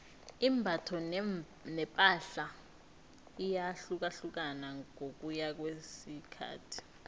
imbatho nepahla iyahlukahlukana ngokuya ngokwesikhathi